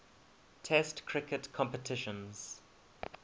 test cricket competitions